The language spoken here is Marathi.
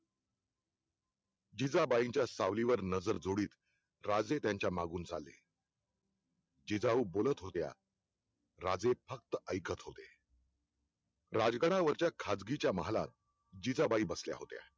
जिजाबाईंच्या सावलीवर नजर जोडीत राजे त्यांच्या मागून चालले जिजाऊ बोलत होत्या राजे फक्त ऐकत होते राजकारणावरच्या खासगीच्या महालात जिजाबाई बसल्या होत्या